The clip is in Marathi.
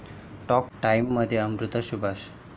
टॉक टाइम'मध्ये अमृता सुभाष